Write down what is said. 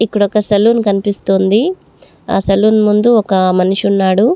ఇక్కడ ఒక సలూన్ కనిపిస్తుంది ఆ సలూన్ ముందు ఒక మనిషి ఉన్నాడు--